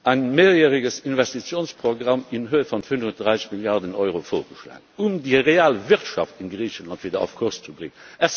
ein mehrjähriges Investitionsprogramm in Höhe von 35 Milliarden Euro vorgeschlagen, um die Realwirtschaft in Griechenland wieder auf Kurs zu bringen.